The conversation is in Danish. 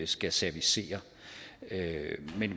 skal servicere